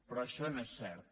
però això no és cert